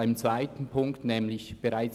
Gemäss Ziffer 2